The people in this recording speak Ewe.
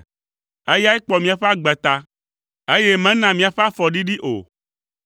Eyae kpɔ míaƒe agbe ta, eye mena míaƒe afɔ ɖiɖi o.